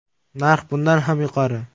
Narx bundan ham yuqori.